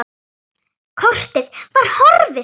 Kortið var horfið!